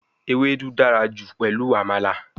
Ewedu dara ju pelu Amala